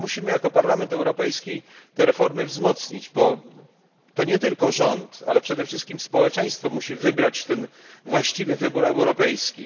Jako Parlament Europejski musimy te reformy wzmocnić, bo to nie tylko rząd, ale przede wszystkim społeczeństwo musi dokonać tego właściwego wyboru europejskiego.